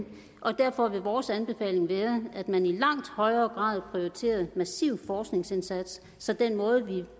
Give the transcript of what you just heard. og derfor vil vores anbefaling være at man i langt højere grad prioriterer en massiv forskningsindsats så den måde vi